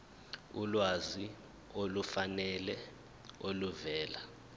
ulwazi olufanele oluvela